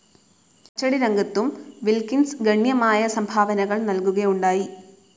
അച്ചടിരംഗത്തും Wilkins ഗണ്യമായ സംഭാവനകൾ നൽകുകയുണ്ടായി.